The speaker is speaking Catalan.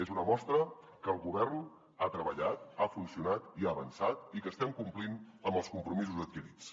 és una mostra que el govern ha treballat ha funcionat i ha avançat i que estem complint amb els compromisos adquirits